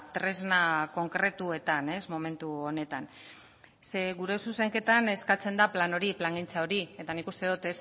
tresna konkretuetan momentu honetan ze gure zuzenketan eskatzen da plan hori plangintza hori eta nik uste dot